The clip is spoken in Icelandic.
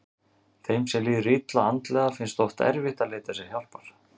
Þeim sem líður illa andlega finnst oft erfitt að leita sér hjálpar.